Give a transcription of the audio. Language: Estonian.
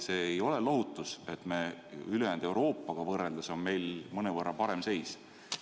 See ei ole lohutus, et meil ülejäänud Euroopaga võrreldes on mõnevõrra parem seis.